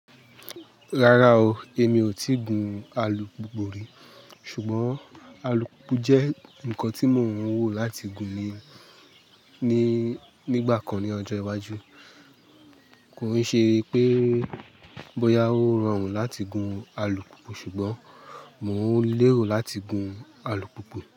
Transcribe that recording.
Rárá o, èmi ò tíì gun alùpùpù rí. Ṣùgbọ́n alùpùpù jẹ́ nǹkan tí mo ń wò láti gun ní, nígbà kan ní ọjọ́ iwájú. Kò n ṣe pé bóyá ó rọrùn láti gun alùpùpù, ṣùgbọ́n mo ń lérò láti gun alùpùpù.